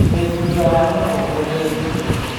Twĩ thutha wa mũtongoria witũ.